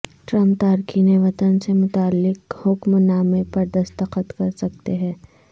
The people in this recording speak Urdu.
ٹرمپ تارکین وطن سے متعلق حکم نامے پردستخط کر سکتے ہیں